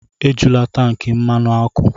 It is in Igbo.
Ejula tankị mmanụ ọkụ!